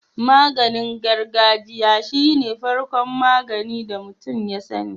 Maganin gargajiya shine farko magani da mutun ya sani